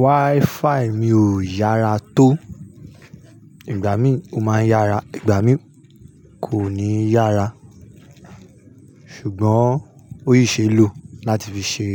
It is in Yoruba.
Wi-Fi mi ò yára tó. Ìgbà mí ò máa ń yára, ìgbà mí kò ní yára. Ṣùgbọ́n ó yí ṣe ló lati fi ṣe